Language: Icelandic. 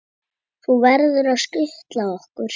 Þú verður að skutla okkur.